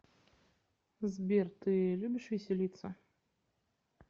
сбер ты любишь веселиться